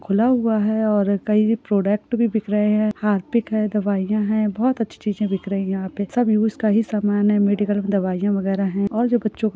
खुला हुआ हैं और कई प्रोडक्ट भी बिक रहे हैं हारपिक हैं दवाईया हैं बहुत अच्छी चीजे दिख रही हैं यहाँ पे सब यूस का ही समान हैं मेडिकल मे दवाइयाँ वागेर हैं और ये बच्चों का--